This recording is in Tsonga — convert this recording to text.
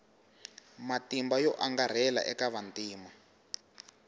matimba yo angarhela eka vantima